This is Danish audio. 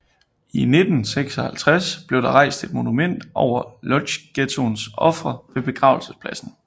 I 1956 blev der rejst et monument over Łódźghettoens ofre ved begravelsespladsen